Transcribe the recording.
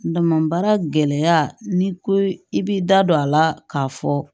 N dama baara gɛlɛya n'i ko i b'i da don a la k'a fɔ